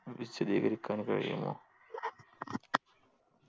വിശദീകരിക്കാൻ കഴിയുമോ